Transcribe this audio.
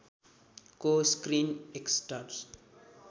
को screen actors